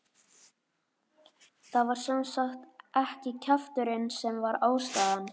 Það var sem sagt ekki kjafturinn sem var ástæðan.